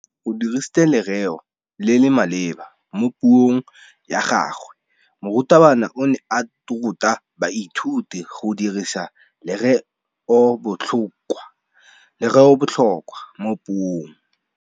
O dirisitse lerêo le le maleba mo puông ya gagwe. Morutabana o ne a ruta baithuti go dirisa lêrêôbotlhôkwa mo puong.